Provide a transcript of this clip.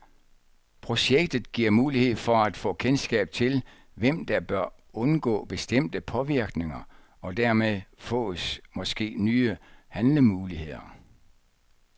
Projektet giver mulighed for at få kendskab til, hvem der bør undgå bestemte påvirkninger, og dermed fås måske nye handlemuligheder.